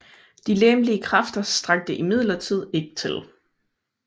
De legemlige kræfter strakte imidlertid ikke til